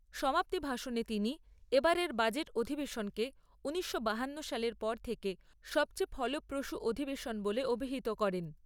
সমাপ্তি ভাষণে তিনি এবারের বাজেট অধিবেশনকে ঊনিশশো বাহান্ন সালের পর থেকে সবচেয়ে ফলপ্রসূ অধিবেশন বলে অভিহিত করেন।